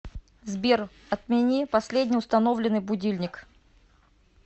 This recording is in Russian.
сбер отмени последний установленный будильник